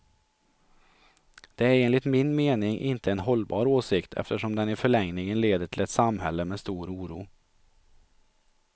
Det är enligt min mening inte en hållbar åsikt, eftersom den i förlängningen leder till ett samhälle med stor oro.